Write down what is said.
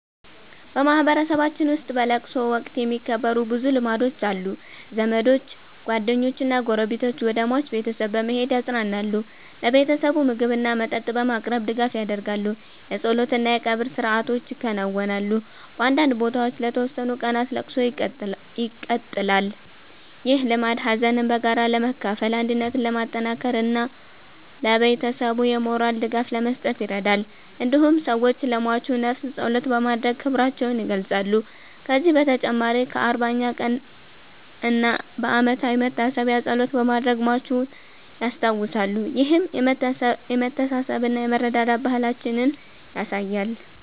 በማህበረሰባችን ውስጥ በለቅሶ ወቅት የሚከበሩ ብዙ ልማዶች አሉ። ዘመዶች፣ ጓደኞችና ጎረቤቶች ወደ ሟች ቤተሰብ በመሄድ ያጽናናሉ። ለቤተሰቡ ምግብና መጠጥ በማቅረብ ድጋፍ ያደርጋሉ። የጸሎት እና የቀብር ሥርዓቶች ይከናወናሉ። በአንዳንድ ቦታዎች ለተወሰኑ ቀናት ለቅሶ ይቀመጣል። ይህ ልማድ ሀዘንን በጋራ ለመካፈል፣ አንድነትን ለማጠናከር እና ለቤተሰቡ የሞራል ድጋፍ ለመስጠት ይረዳል። እንዲሁም ሰዎች ለሟቹ ነፍስ ጸሎት በማድረግ ክብራቸውን ይገልጻሉ። ከዚህ በተጨማሪ በ40ኛ ቀን እና በዓመታዊ መታሰቢያ ጸሎት በማድረግ ሟቹን ያስታውሳሉ። ይህም የመተሳሰብና የመረዳዳት ባህላችንን ያሳያል።